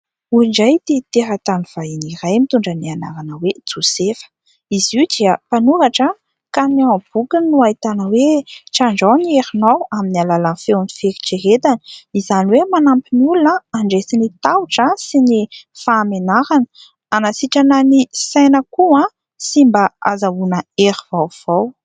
Hoy indray ity teratany vahiny iray, mitondra ny anarana hoe Josefa ; izy io dia mpanoratra ka ao amin'ny bokiny no ahitana hoe "trandraho ny herinao amin'ny alalan'ny feon'ny fieritreretana". Izany hoe manampy ny olona handresy ny tahotra sy ny fahamenarana, hanasitrana ny saina koa sy mba ahazoana hery vaovao.